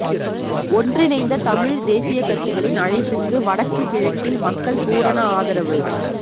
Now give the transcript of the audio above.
ஒன்றிணைந்த தமிழ் தேசிய கட்சிகளின் அழைப்பிற்கு வடக்கு கிழக்கில் மக்கள் பூரண ஆதரவு